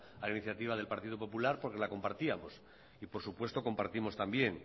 a iniciativa del partido popular porque la compartíamos y por supuesto compartimos también